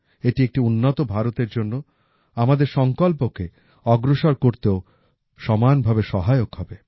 এটি একটি উন্নত ভারতের জন্য আমাদের সংকল্পকে অগ্রসর করতেও সমানভাবে সহায়ক হবে